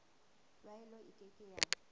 tlwaelo e ke ke ya